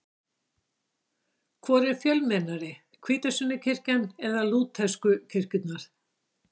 Hvor er fjölmennari, hvítasunnukirkjan eða lútersku kirkjurnar?